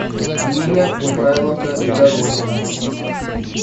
нина михайловна доронина